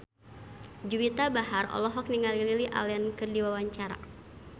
Juwita Bahar olohok ningali Lily Allen keur diwawancara